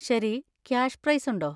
ശരി, cash prize ഉണ്ടോ?